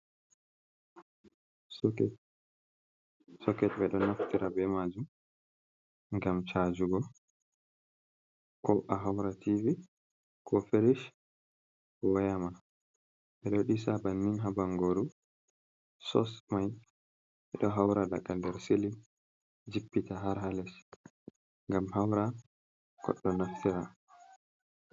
Soket ɓe do naftira be majum gam chajugo ko a haura tivi, ko ferish woyama. bodisa bannin habangoru sosmai be ɗo haura daga nder silin jippita har hales gam haura kodo naftira.